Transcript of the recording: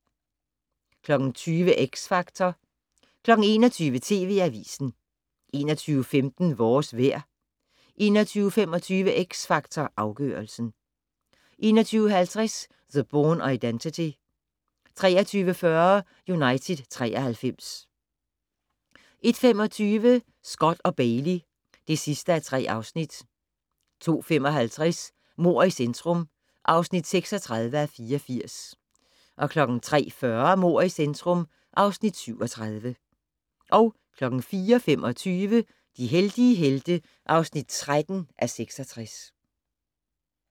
20:00: X Factor 21:00: TV Avisen 21:15: Vores vejr 21:25: X Factor Afgørelsen 21:50: The Bourne Identity 23:40: United 93 01:25: Scott & Bailey (3:3) 02:55: Mord i centrum (36:84) 03:40: Mord i centrum (37:84) 04:25: De heldige helte (13:66)